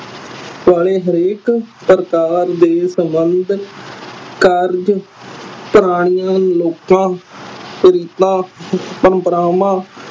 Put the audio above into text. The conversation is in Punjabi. ਵਾਲੇ ਹਰੇਕ ਪ੍ਰਕਾਰ ਦੇ ਸਬੰਧ ਕਾਰਜ ਪ੍ਰਾਣੀਆਂ ਲੋਖਾ ਪ੍ਰੰਪ੍ਰਾਵਾਂ